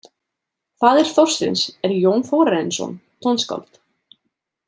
Faðir Þorsteins er Jón Þórarinsson, tónskáld.